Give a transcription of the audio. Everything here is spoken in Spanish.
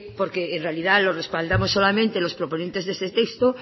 porque en realidad los respaldamos solamente los proponentes de ese texto